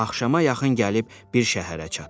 və axşama yaxın gəlib bir şəhərə çatdı.